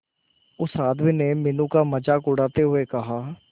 उस आदमी ने मीनू का मजाक उड़ाते हुए कहा